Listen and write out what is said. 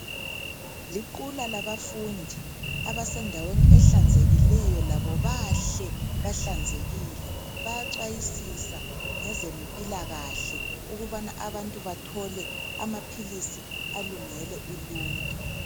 Liqula labafundi abasendaweni ehlanzekileyo labo bahle bahlanzekile bayacwayisisa ngezempilakahle ukubana abantu bathole amaphilisi alungele uluntu.